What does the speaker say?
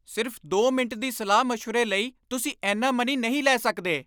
ਸਿਰਫ਼ ਦੋ ਮਿੰਟ ਦੀ ਸਲਾਹ ਮਸ਼ਵਰੇ ਲਈ ਤੁਸੀਂ ਇੰਨਾ ਮਨੀ ਨਹੀਂ ਲੈ ਸਕਦੇ!